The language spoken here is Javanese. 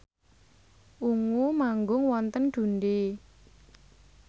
Ungu manggung wonten Dundee